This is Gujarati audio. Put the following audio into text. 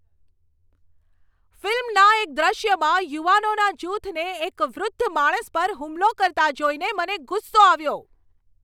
ફિલ્મના એક દૃશ્યમાં યુવાનોના જૂથને એક વૃદ્ધ માણસ પર હુમલો કરતા જોઈને મને ગુસ્સો આવ્યો.